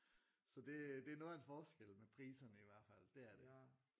Så det det er noget af en forskel med priserne i hvert fald dét er det